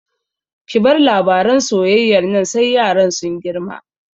Ki bar labaran soyayyar nan sai yaran sun girma!